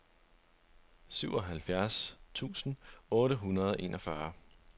syvoghalvfjerds tusind otte hundrede og enogfyrre